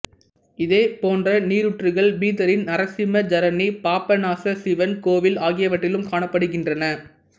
இதேபோன்ற நீரூற்றுகள் பீதரின் நரசிம்ம ஜரனி பாப்பனாச சிவன் கோவில் ஆகியவற்றிலும் காணப்படுகின்றன